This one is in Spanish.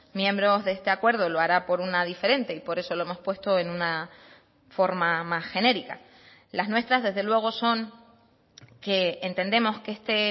miembros de este acuerdo lo hará por una diferente y por eso lo hemos puesto en una forma más genérica las nuestras desde luego son que entendemos que este